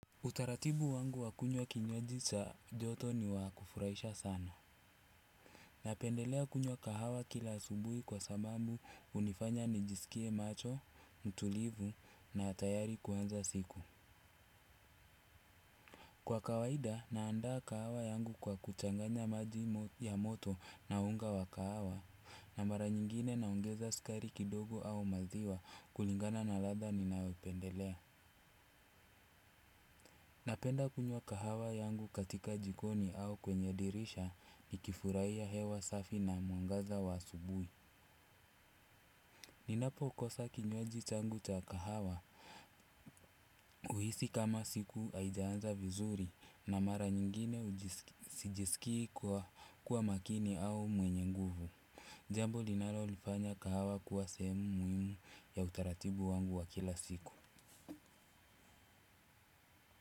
Utaratibu wangu wa kunywa kinywaji cha joto ni wa kufurahisha sana. Napendelea kunywa kahawa kila asubuhi kwa sababu hunifanya nijisikie macho, mtulivu na tayari kuanza siku. Kwa kawaida, naandaa kahawa yangu kwa kuchanganya maji ya moto na unga wa kahawa, na mara nyingine naongeza sukari kidogo au maziwa kulingana na ladha ninayopendelea. Napenda kunywa kahawa yangu katika jikoni au kwenye dirisha nikifurahia hewa safi na mwangaza wa asubuhi. Ninapo ukosa kinywaji changu cha kahawa huhisi kama siku haijaanza vizuri na mara nyinyine sijiskii kuwa makini au mwenye nguvu. Jambo linalolifanya kahawa kuwa sehemu muhimu ya utaratibu wangu wa kila siku.